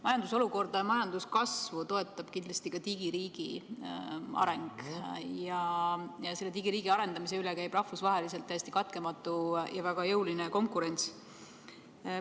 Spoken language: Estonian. Majandusolukorda ja majanduskasvu toetab kindlasti ka digiriigi areng ja selle digiriigi arendamise üle käib rahvusvaheliselt täiesti katkematu ja väga jõuline konkurents.